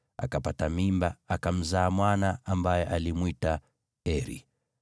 akapata mimba, akamzaa mwana, ambaye alimwita Eri.